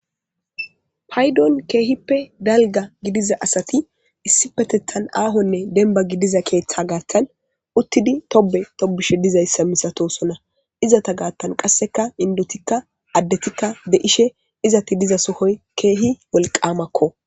Paydon kehipedalga Gidiza asati issipetetan ahogidiza debane Gathani utidi Tobe tobishe. Misatosona izzeta gathan indetika adEtika Izeti diza sohoy. Kehi wollkamako